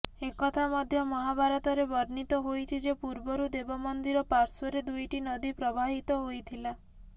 ଏକଥା ମଧ୍ୟ ମହାଭାରତରେ ବର୍ଣ୍ଣିତ ହୋଇଛି ଯେ ପୂର୍ବରୁ ଦେବ ମନ୍ଦିର ପାଶ୍ର୍ୱରେ ଦୁଇଟି ନଦୀ ପ୍ରବାହିତ ହୋଇଥିଲା